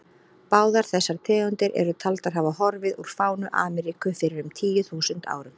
Báðar þessar tegundir eru taldar hafa horfið úr fánu Ameríku fyrir um tíu þúsund árum.